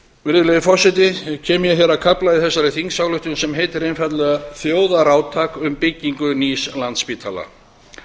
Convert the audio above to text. virðulegi forseti kem ég að kafla í þessari þingsályktunartillögu sem heitir þjóðarátak um byggingu nýs landspítala